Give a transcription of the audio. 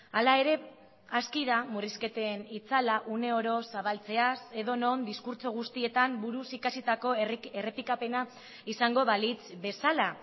hala ere aski da murrizketen itzala uneoro zabaltzeaz edonon diskurtso guztietan buruz ikasitako errepikapena izango balitz bezala